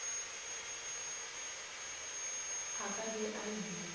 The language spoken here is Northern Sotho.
a ka be a ile